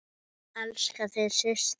Elska þig, systir.